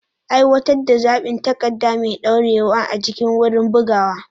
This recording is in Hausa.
Aiwatar da zaɓin takarda mai ɗorewa a cikin wurin bugawa.